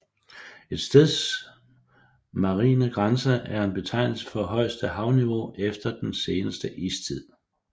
Et steds marine grænse er en betegnelse for højeste havniveau efter den seneste istid